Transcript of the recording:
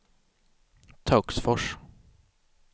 Töcksfors